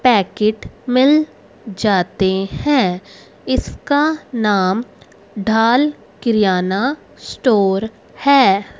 Packet मिल जाते है इसका नाम ढाल किराना स्टोर है।